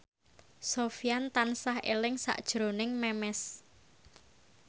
Sofyan tansah eling sakjroning Memes